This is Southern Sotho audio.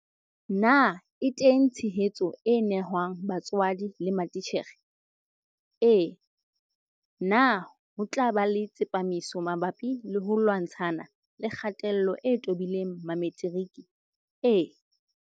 Na e teng tshehetso e nehwang batswadi le matitjhere? Ee. Na ho tla ba le tsepamiso mabapi le ho lwantshana le kgatello e tobileng Mametiriki? Ee.